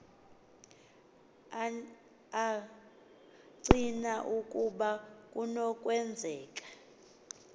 acina ukuba kunokwenzeka